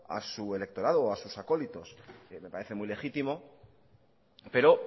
a su electorado o a sus acólitos que me parece muy legítimo pero